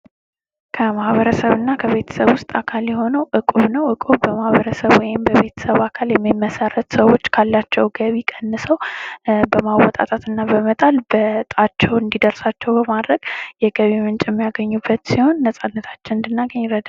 ከማህበረሰብ እና ቤተሰብ ውስጥ አካል የሆነው እቁብ ነው ። እቁብ በማህበረሰብ ወይም በቤተሰብ አካል የሚመሠረት ሰዎች ካላቸው ገቢ ቀንሰው በማወጣጣት እና በመጣል በእጣቸው እንዲደርሳቸው በማድረግ የገቢ ምንጭ የሚያገኙበት ሲሆን ነፃነታችን እንድናገኝ ይረዳናል ።